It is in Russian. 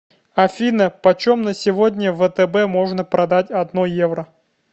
афина почем на сегодня в втб можно продать одно евро